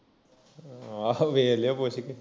ਆਹ ਵੇਖ ਲਿਉ ਪੁੱਛ ਕੇ